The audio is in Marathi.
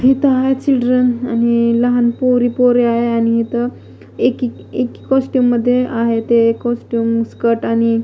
इथ आहे चिल्ड्रन आणि लहान पोरी पोरे आहे आणि इथं एक एक कॉस्टुम मध्ये आहे ते कॉस्टुम स्कर्ट आणि--